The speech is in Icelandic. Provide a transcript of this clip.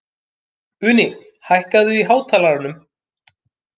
Uni, hækkaðu í hátalaranum.